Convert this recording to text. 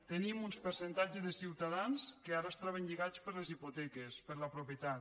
tenim uns percentatges de ciutadans que ara es troben lligats per les hipoteques per la propietat